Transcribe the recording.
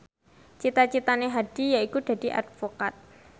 cita citane Hadi yaiku dadi advokat